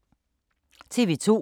TV 2